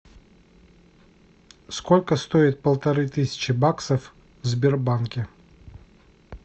сколько стоит полторы тысячи баксов в сбербанке